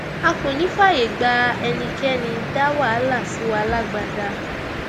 a kò ní í fààyè gba ẹnikẹni dá wàhálà sí wa lágbádá